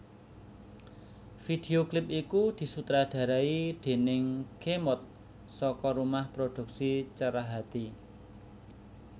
Video klip iku disutradarai déning Khemod saka rumah produksi Cerahati